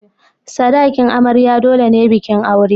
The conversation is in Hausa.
Sadakin amarya dole ne bikin aure.